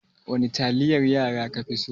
Wani taliyar yara ka fi so?